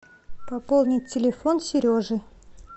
пополнить телефон сережи